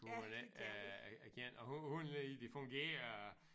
Hvor man ikke er er er kendt og hvor hvordan er det lige det fungerer